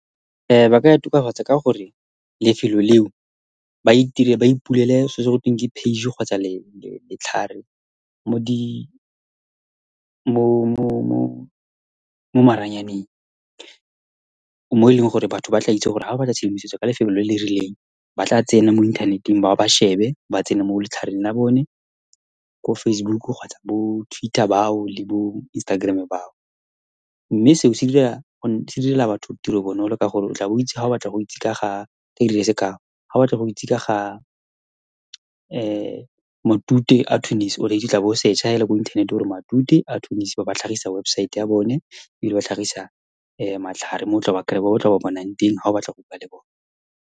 ba ka e tokafatsa ka gore lefelo leo ba itire, ba ipulele selo se, go teng ke page kgotsa letlhare mo di, mo maranyaneng, mo e leng gore batho ba tla itse gore, ha ba batla tshedimosetso ka lefelo le le rileng, ba tla tsena mo inthaneteng, ba ba shebe, ba tsene mo letlhareng la bone ko Facebook kgotsa bo-Twitter bao le bo-Instagram bao. Mme seo se dira, se direla batho tiro bonolo, ka gore o tla bo o itse, ha o batla go itse ka ga, ke dira sekao, ha o batla go itse ka ga matute a , o tla bo o search-a fela ko inthanete, o re matute a , ba ba tlhagisa websaete ya bone, ebile ba tlhagisa matlhare mo o tla ba kry-a, mo o tla ba bonang teng ha o batla go bua le bone.